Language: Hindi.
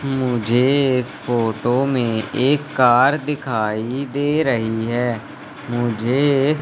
मुझे इस फोटो में एक कार दिखाई दे रही हैं। मुझे इस--